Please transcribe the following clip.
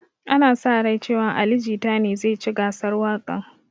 Ana sa rai cewan ali jita ne zai ci gasar waƙan